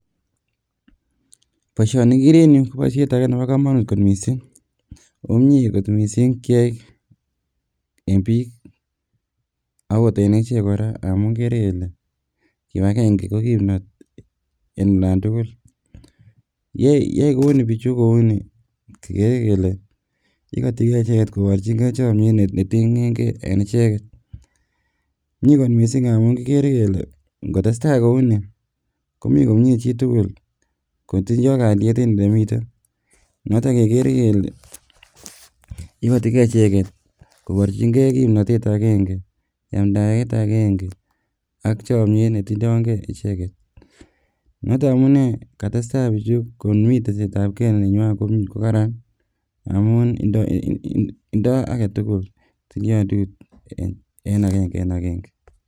Boishoni igeere en yuh koboishiet age Nebo komonut missing, oko mie kot missing keyaai eng biik akot en echek kora, ngamun kibagenge ko kimnotet en olantugul, yoe kouni bichu kouni kigeree kele ikoti kee icheget koboechingee chomiet netinye gee eng ichege mie kot missing ngamun kickers kele ngotestai kouni komi komie chitugul kotindo kalyet en elemiten. Noton kekeere kele ikotii gee icheget koborchingee kimnotet agenge ,yamdaet agenge ak chomiet netindoen gee icheget. Niton amune katesta bichu kobor chametabgee nenywanet nekaran amun tindo agetugul agenge eng agenge